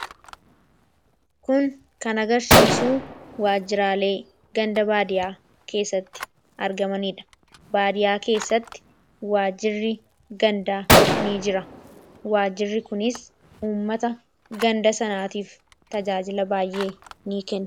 Kun kan agarsiisu waajiraalee ganda baadiyyaa keessatti argamanidha. Baadiyyaa keessatti waajjirri gandaa ni jira. Waajjirri kunis tajaajila baay'ee ni kenna.